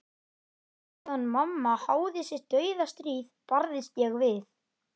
Á meðan mamma háði sitt dauðastríð barðist ég við